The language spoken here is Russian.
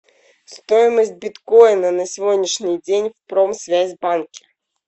стоимость биткоина на сегодняшний день в промсвязьбанке